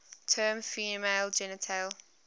term female genital